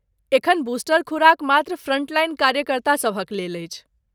एखन बूस्टर खुराक मात्र फ्रंटलाइन कार्यकर्तासभक लेल अछि।